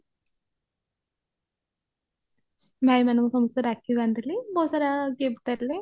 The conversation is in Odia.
ଭାଇ ମାନଙ୍କୁ ସମସ୍ତଙ୍କୁ ରାକ୍ଷୀ ବାନ୍ଧିଳି ବହୁତ ସାରା gift ଦେଲେ